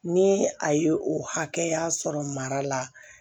Ni a ye o hakɛya sɔrɔ mara la